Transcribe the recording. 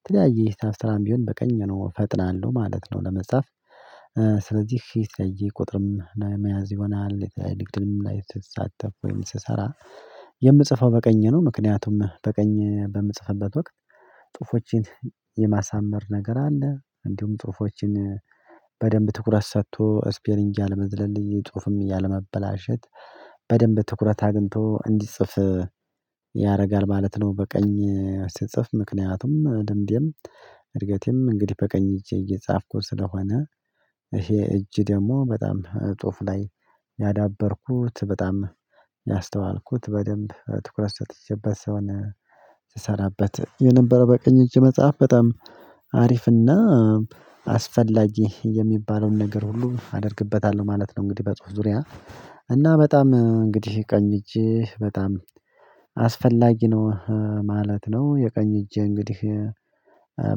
የተለያየ ሂሳብ ስራም ቢሆን በቀኝ ነው እፈጥናለሁ ማለት ነው ለመጻፍ። ስለዚህ ሺህ ሰይጄ ቁጥርም መያዝ ይሆናል የተለያየ ድግድም ላይ ስትሳተፍ ወይም ስሰራ የምጽፈው በቀኝ ነው ምክንያቱም በቀኝ በምጽፈበት ወቅት ጥፎቼን የማሳመር ነገር አለ። እንዲሁም ጽሁፎችን በደንብ ትኩረት ሰጥቶ ስፔሊንግ አለመዝለል የጽሁፍም ያለመበላሸት በደንብ ትኩረት አግኝቶ እንዲጽፍ ያደርጋል ማለት ነው በቀኝ ስጽፍ። ምክንያቱም ልምዴም እድገቴም እንግዲህ በቀኝ እጄ እየጻፍኩ ስለሆነ ይሄ እጅ ደግሞ በጣም ጸሁፍ ላይ ያዳበርኩት በጣም ያስተዋልኩት በደንብ ትኩረት ሰጥቼበት ሰውን ስሰራበት የነበረው። በቅኝ እጅ መጽሐፍ በጣም አሪፍና አስፈላጊ የሚባለውን ነገር ሁሉ አደርግበታለሁ ማለት ነው። እንግዲህ በጽሁፍ ዙሪያ እና በጣም እንግዲህ ቀኝ እጅ በጣም አስፈላጊ ነው ማለት ነው። የቀኝ እጄ እንግዲህ